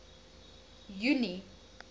junie